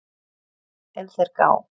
ef þeir gá